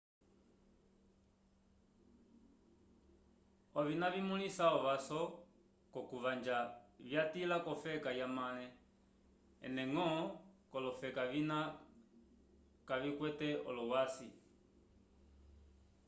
ovina vimyula ovaso kokuvanja vyatila kofeka yamale ene ngõ colofeka vina kavikwete olowasi